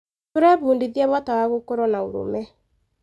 Tũrebundithia bata wa gũkorwo na ũrũme.